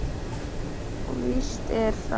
Og víst er það svo.